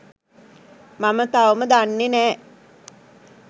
මම තවම දන්නේ නෑ